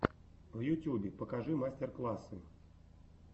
в ютюбе покажи мастер классы